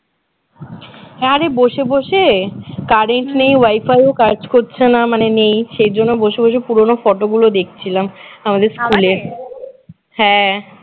আরে বসে বসে current নেই wifi ও কাজ করছে না মানে নেই সেইজন্য বসে বসে পুরানো photo গুলো দেখছিলাম আমাদের স্কুলের হ্যাঁ